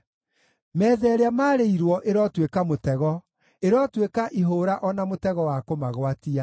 Metha ĩrĩa maarĩirwo ĩrotuĩka mũtego; ĩrotuĩka ihũũra o na mũtego wa kũmagwatia.